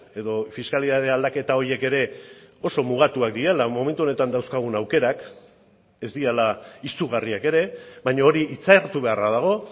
edo fiskalitate aldaketa horiek ere oso mugatuak direla momentu honetan dauzkagun aukerak ez direla izugarriak ere baina hori hitzartu beharra dago